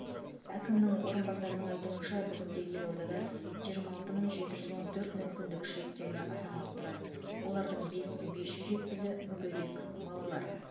әкімнің орынбасарының айтуынша бүгінде елордада жиырма алты мың жеті жүз он төрт мүмкіндігі шектеулі азамат тұрады олардың бес мың бес жүз жетпісі мүгедек балалар